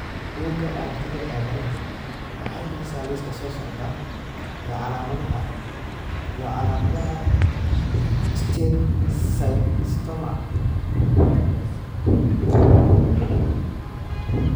Bugga aragtiyaha aanadanaha waxay bixisaa liiska soo socda ee calaamadaha iyo calaamadaha steatocystoma multiplex.